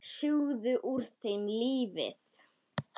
Sjúga úr þeim lífið.